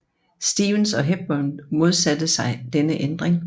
Stevens og Hepburn modsatte sig denne ændring